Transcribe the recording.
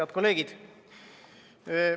Head kolleegid!